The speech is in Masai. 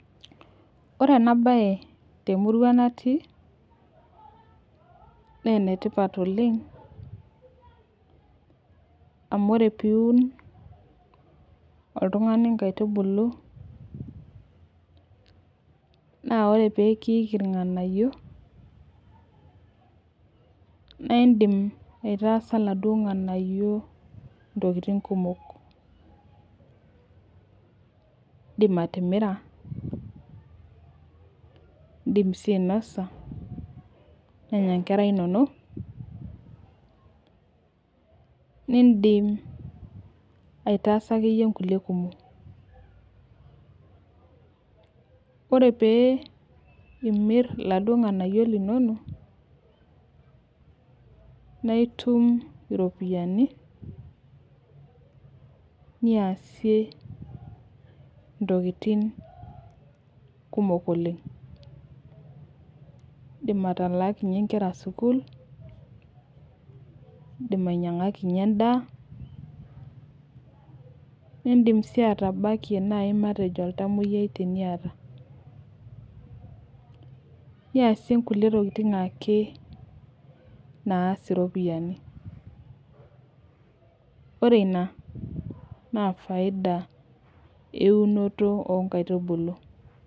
Ore ena bae temurua natii naa ene tipat oleng amu ore peun oltungani nkaitubulu, naa ore pee kiliku ilnganayio, naa idim ataasa iladuok nganayio ntokitin kumok, idim atimira, idim sii ainosa nenya nkera inonok. nidim ataasa akeyie nkulie kumok. ore pee imir iladuo nganayio linonok. naa itum iropiyiani, niyasie ntokitin kumok oleng. idi. atalaakinye nkera sukuul idim ainyiangakinye edaa nidim sii atabakie naai matejo oltamoyiai teniata. niyasie nkulie tokitin ake naas iropiyiani. ore Ina naa faida eunoto oo nkaitubulu.